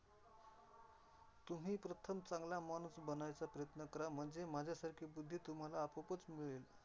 तुम्ही प्रथम चांगला माणूस बनायचा प्रयत्न करा म्हणजे माझ्यासारखी बुध्दी तुम्हाला आपोआपचं मिळेल.